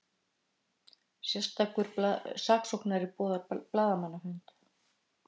Sérstakur saksóknari boðar blaðamannafund